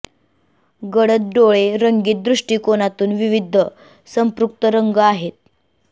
गडद डोळे रंगीत दृष्टीकोनातून विविध संपृक्त रंग आहेत